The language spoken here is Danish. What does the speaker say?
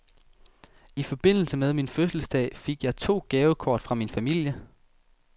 I forbindelse med min fødselsdag fik jeg to gavekort fra min familie.